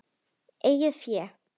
Eigið fé